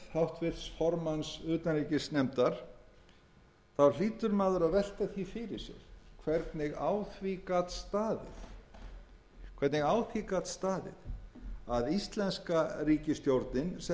orð háttvirts formanns utanríkismálanefndar hlýtur maður að velta því fyrir sér hvernig á því gat staðið að íslenska ríkisstjórnin sem